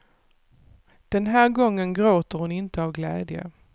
Den här gången gråter hon inte av glädje.